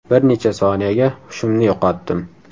Bir necha soniyaga hushimni yo‘qotdim.